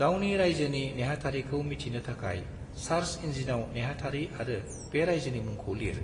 गावनि रायजोनि नेहाथारिखौ मिथिनो थाखाय सार्च इन्जिनाव नेहाथारि आरो बे रायजोनि मुंखौ लिर,